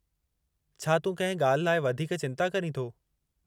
छा तूं कंहिं ॻाल्हि लाइ वधीक चिंता करीं थो?